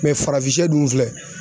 farafin shɛ dun filɛ